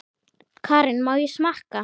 Karen: Má ég smakka?